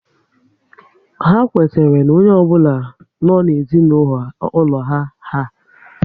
Ha kwetara na onye ọ bụla nọ n'ezinaulo ha iha